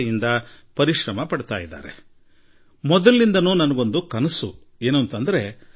ನಮ್ಮ ರಾಷ್ಟ್ರದಲ್ಲಿ ರೈತರು ಶ್ರಮಪಡುವಂತೆ ನಮ್ಮ ವಿಜ್ಞಾನಿಗಳೂ ಕೂಡ ಹಲವು ರಂಗಗಳಲ್ಲಿ ಯಶಸ್ಸು ಸಾಧಿಸುವ ಮೂಲಕ ದೇಶವನ್ನು ಹೊಸ ಎತ್ತರಕ್ಕೆ ಕೊಂಡೊಯ್ಯುತ್ತಿದ್ದಾರೆ